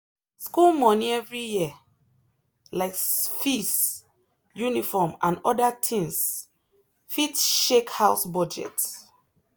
school money every year — like fees uniform and other things — fit shake house budget.